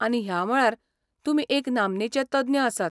आनी, ह्या मळार तुमी एक नामनेचे तज्ञ आसात.